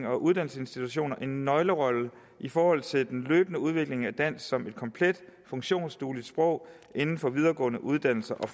og uddannelsesinstitutioner en nøglerolle i forhold til den løbende udvikling af dansk som et komplet funktionsdueligt sprog inden for videregående uddannelser og